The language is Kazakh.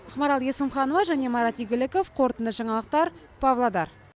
ақмарал есімханова марат игіліков қорытынды жаңалықтар павлодар